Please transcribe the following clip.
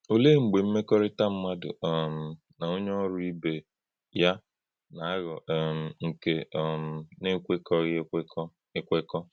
Ọ̀lee mgbe mmekọrịta mmadụ um na onye ọ̀rụ ibe ya na-aghọ́ um nke um na-ekwekọghị ekwekọ? ekwekọ?